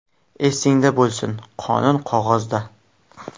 Esingda bo‘lsin: qonun qog‘ozda.